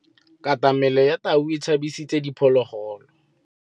Katamêlô ya tau e tshabisitse diphôlôgôlô.